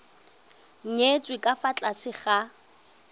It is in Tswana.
nyetswe ka fa tlase ga